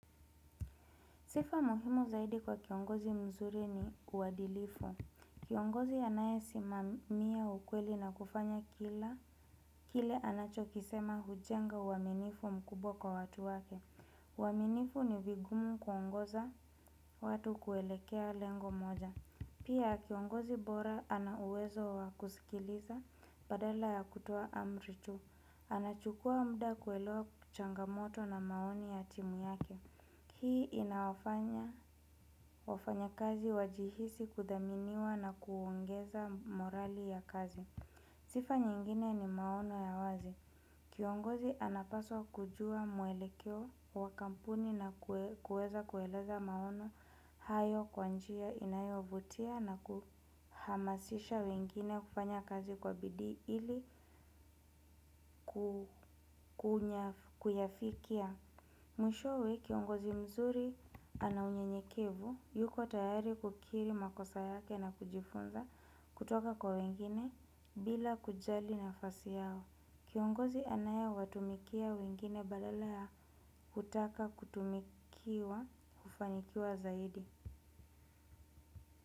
Sifa muhimu zaidi kwa kiongozi mzuri ni uwadilifu. Kiongozi anae simamia ukweli na kufanya kile anachokisema hujenga waminifu mkubwa kwa watu wake. Waminifu ni vigumu kuongoza watu kuelekea lengo moja. Pia kiongozi bora anauwezo wakusikiliza badala ya kutowa amri tu. Anachukua mda kuelewa kuchangamoto na maoni ya timu yake. Hii inafanya wafanya kazi wajihisi kudaminiwa na kuongeza morali ya kazi. Zifa nyingine ni maono ya wazi. Kiongozi anapaswa kujua muelekeo wa kampuni na kueza kueleza maono hayo kwa njia inayovutia na kuhamasisha wengine kufanya kazi kwa bidi ili kuyafikia. Mwishowe kiongozi mzuri ana unyenyekevu, yuko tayari kukiri makosa yake na kujifunza kutoka kwa wengine bila kujali nafasi yao. Kiongozi anaya watumikia wengine badala kutaka kutumikiwa ufanikiwa zaidi.